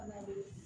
Fana de ye